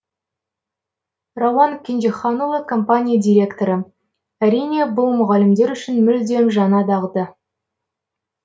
рауан кенжеханұлы компания директоры әрине бұл мұғалімдер үшін мүлдем жаңа дағды